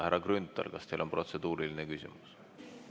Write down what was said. Härra Grünthal, kas teil on protseduuriline küsimus?